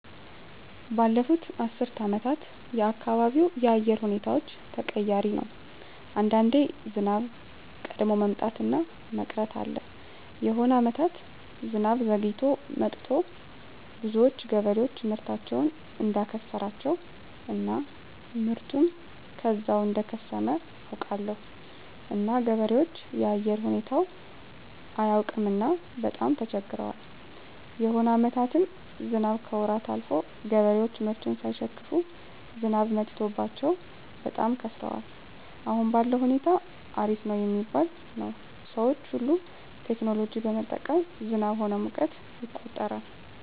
ባለፋት አስር አመታት የአካባቢው የአየር ሁኔታዎች ተቀያሪ ነው አንዳንዴ ዝናብ ቀድሞ መምጣት እና መቅረት አለ የሆነ አመታት ዝናብ ዘግይቶ መጥቱ ብዙዎች ገበሬዎች ምርታቸውን እዳከሰራቸው እና ምርቱ ከዛው እደከሰመ አውቃለሁ እና ገበሬዎች የአየር ሁኔታው አያውቅምና በጣም ተቸግረዋል የሆነ አመታትም ዝናብ ከወራት አልፎ ገበሬዎች ምርቱን ሳይሸክፋ ዝናብ መትቶባቸው በጣም ከስረዋል አሁን ባለዉ ሁኔታ አሪፍ ነው ሚባል ነው ሰዎች ሁሉ ቴክኖሎጂ በመጠቀም ዝናብ ሆነ ሙቀትን ይቆጠራል